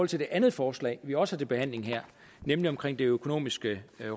til det andet forslag vi også har til behandling her nemlig omkring det økonomiske